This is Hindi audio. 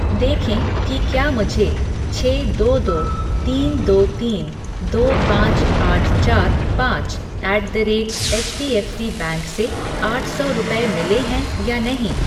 देखें कि क्या मुझे छः दो दो तीन दो तीन दो पाँच आठ चार पाँच at the rate HDFC bank से आठ सौ रुपये मिले हैं या नहीं ।